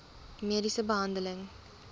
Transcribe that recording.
mediese behandeling